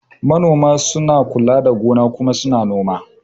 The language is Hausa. Manoma na kula da gona kuma su na noma